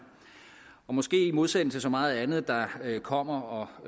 og måske i modsætning til så meget andet der kommer og